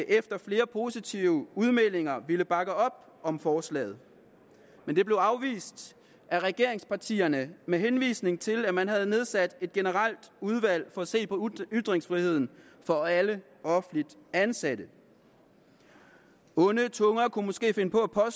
efter flere positive udmeldinger ville bakke op om forslaget men det blev afvist af regeringspartierne med henvisning til at man har nedsat et generelt udvalg for at se på ytringsfriheden for alle offentligt ansatte onde tunger kunne måske finde på at